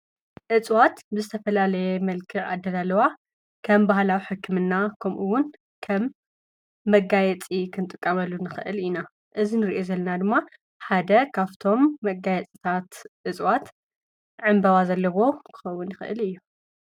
እጽዋት ብዝተፈላለየ መልክዕ ኣደላልዋ ከም ባህላዊ ሕክምና ከምኡውን ከም መጋየጺ ኽንጥቀመሉ ንኽእል ኢና። እዚ ንሪኦ ዘለና ድማ ሓደ ኻፍቶም መጋየጽታት እፅዋት ዕምበባ ዘለዎ ክኸውን ይኽእል እዩ።